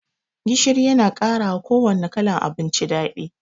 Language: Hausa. Gishiri Yana karawa kuwanne kalan abinci daɗi.